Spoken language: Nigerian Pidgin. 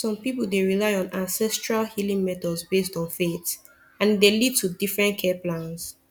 some people dey rely on ancestral healing methods based on faith and e dey lead to different care plans